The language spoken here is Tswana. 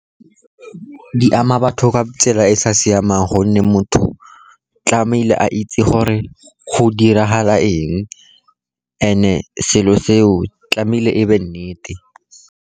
Di ama batho ka tsela e e sa siamang, gonne motho tlamehile a itse gore go diragala eng, selo seo tlamehile e be nnete.